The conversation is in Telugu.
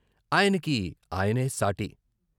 ఆయనకి ఆయనే సాటి.